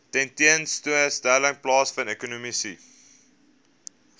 tentoonstelling plaasvind ekonomiese